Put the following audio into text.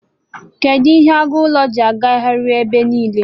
Kedụ ihe agụ ụlọ ji arighari ụlọ ebe niile?